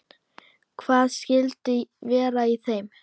Hvað skyldi vera í þeim?